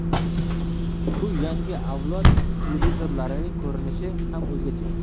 Shu yangi avlod televizorlarining ko‘rinishi ham o‘zgacha.